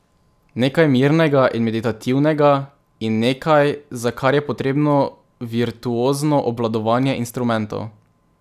Nekaj mirnega in meditativnega in nekaj, za kar je potrebno virtuozno obvladovanje instrumentov.